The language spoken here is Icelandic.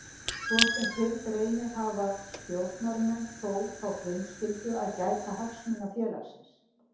Svo sem fyrr greinir hafa stjórnarmenn þó þá frumskyldu að gæta hagsmuna félagsins.